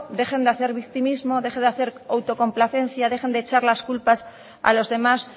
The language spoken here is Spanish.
deje de hacer victimismo deje de hacer autocomplacencia dejen de echar las culpas a los demás